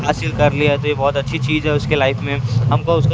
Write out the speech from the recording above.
हासिल कर लिया तो ये बहुत अच्छी चीज है उसके लाइफ में हमको उस पे--